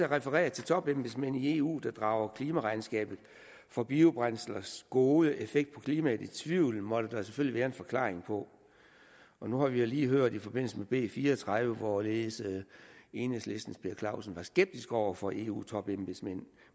refereret til topembedsmænd i eu der drager klimaregnskabet for biobrændslers gode effekt på klimaet i tvivl måtte der selvfølgelig være en forklaring på nu har vi jo lige hørt i forbindelse med b fire og tredive hvorledes enhedslistens herre per clausen var skeptisk over for eu topembedsmænd